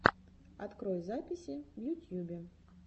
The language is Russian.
открой записи в ютьюбе